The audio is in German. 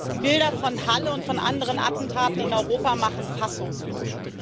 Die Bilder von Halle und von anderen Attentaten in Europa machen fassungslos.